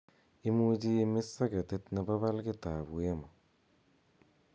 imuche imis soketit nepo palgit ab wemo